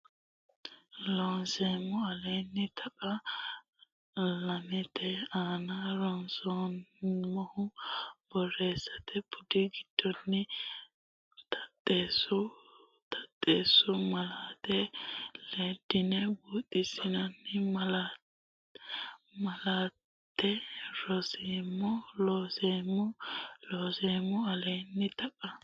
Looseemmo Aleenni taqa lamete aana ronsummoha Borreessate budi giddonni taxxeessu taxxeessu malaate leddine buuxxinanni malaate ronseemmo Looseemmo Looseemmo Aleenni taqa.